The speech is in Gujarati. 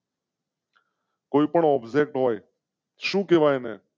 કોઈ પણ object હોય શું કેવાય ને?